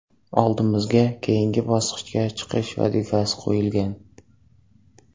Oldimizga keyingi bosqichga chiqish vazifasi qo‘yilgan.